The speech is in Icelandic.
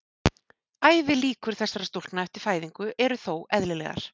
Ævilíkur þessara stúlkna eftir fæðingu eru þó eðlilegar.